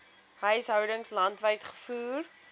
huishoudings landwyd gevoer